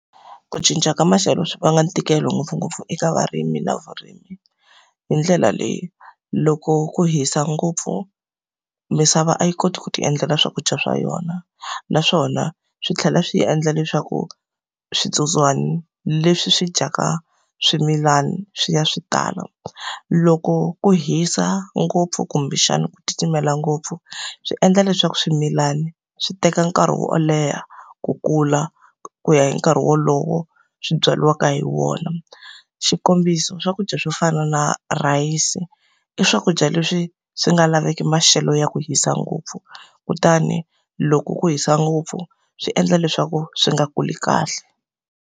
Ku cinca ka maxelo swi va na ntikelo ngopfungopfu eka varimi na vurimi hi ndlela leyi. Loko ku hisa ngopfu misava a yi koti ku ti endlela swakudya swa yona, naswona swi tlhela swi endla leswaku switsotswana leswi swi dyaka swimilana swi ya swi tala. Loko ku hisa ngopfu kumbexana ku titimela ngopfu, swi endla leswaku swimilani swi teka nkarhi wo leha ku kula, ku ya hi nkarhi wolowo swi byariwaka hi wona. Xikombiso swakudya swo fana na rhayisi, i swakudya leswi swi nga laveki maxelo ya ku hisa ngopfu. Kutani loko ku hisa ngopfu, swi endla leswaku swi nga kuli kahle.